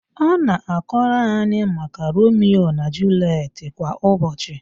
Ọ na-akọrọ anyị maka Romio na Juliet kwa ụbọchị